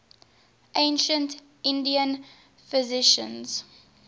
ancient indian physicians